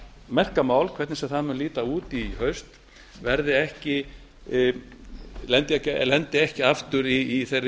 merka mál hvernig sem það mun líta út í haust lendi ekki aftur í þeirri